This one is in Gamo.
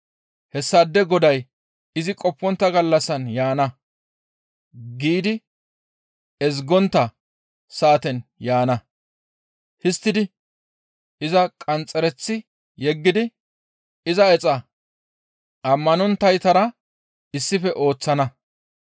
hessaade goday izi qoppontta gallassan yaana giidi ezgontta saaten yaana; histtidi iza qanxxereththi yeggidi iza exa ammanonttaytara issife ooththana.